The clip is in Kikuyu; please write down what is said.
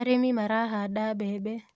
Arĩmi marahanda mbembe